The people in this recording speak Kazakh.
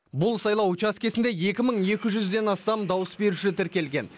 бұл сайлау учаскесінде екі мың екі жүзден астам дауыс беруші тіркелген